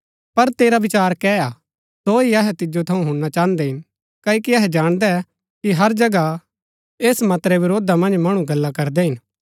पर तेरा विचार कै हा सो ही अहै तिजो थऊँ हुणना चाहन्दै हिन क्ओकि अहै जाणदै कि हर जगह ऐस मत रै वरोधा मन्ज मणु गल्ला करदै हिन